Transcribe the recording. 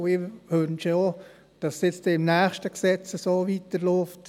Ich wünsche mir auch, dass es nun mit dem nächsten Gesetz so weiterläuft.